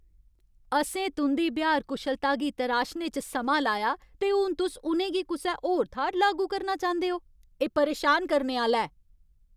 असें तुं'दी ब्यहार कुशलता गी तराशने च समां लाया, ते हून तुस उ'नें गी कुसै होर थाह्‌र लागू करना चांह्‌दे ओ? एह् परेशान करने आह्‌ला ऐ।